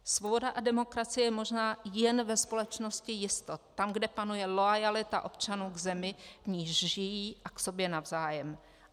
Svoboda a demokracie je možná jen ve společnosti jistot - tam, kde panuje loajalita občanů k zemi, v níž žijí, a k sobě navzájem.